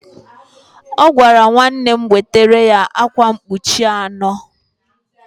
Ọ gwara nwanne m wetara ya akwa mkpuchi anọ